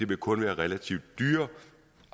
vil kun være relativt dyre